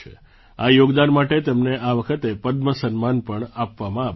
આ યોગદાન માટે તેમને આ વખતે પદ્મ સન્માન પણ આપવામાં આવ્યું છે